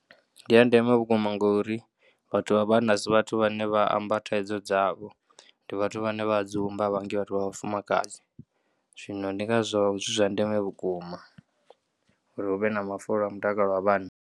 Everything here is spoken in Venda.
Ndi a ndeme vhukuma ngori vhathu vha vhanna a si vhathu vhane vha amba thaidzo dzavho, ndi vhathu vhane vha dzumba a vha ngi vhathu vha vhafumakadzi, zwino ndi ngazwo zwi zwa ndeme vhukuma uri hu vhe na mafulo a mutakalo wa vhanna.